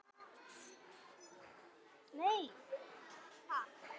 Þetta var brú númer tvö.